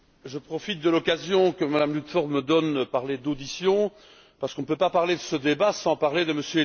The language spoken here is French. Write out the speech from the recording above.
Je profite de l'occasion que Mme Ludford me donne de parler d'audition parce qu'on ne peut pas parler de ce débat sans parler de M.